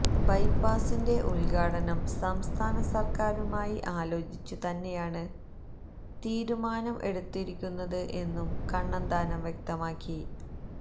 ബൈപ്പാസിന്റെ ഉദ്ഘാടനം സംസ്ഥാന സര്ക്കാരുമായി ആലോചിച്ചു തന്നെയാണ് തീരുമാനം എടുത്തിരിക്കുന്നത് എന്നും കണ്ണന്താനം വ്യക്തമാക്കി